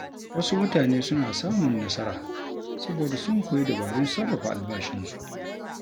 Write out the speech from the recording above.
Wasu mutane suna samun nasara saboda sun koyi dabarun sarrafa albashinsu.